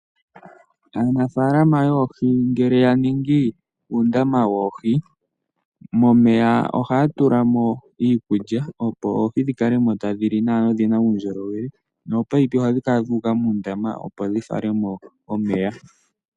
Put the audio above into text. Aanafalama yoohi ngele ya ningi oondama dhoohi momeya, ohaya tula mo iikulya opo dhi kale mo tadhi li nawa dho odhina uundjolowele noopaipi ohadhi kala dhuuka muundama opo dhi fale mo omeya.